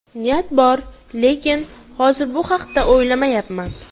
Niyat bor, lekin hozir bu haqda o‘ylamayapman.